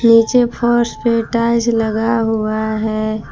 नीचे फर्श पे टाइल्स लगा हुआ है।